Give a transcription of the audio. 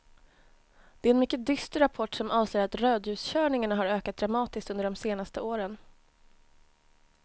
Det är en mycket dyster rapport som avslöjar att rödljuskörningarna har ökat dramatiskt under de senaste åren.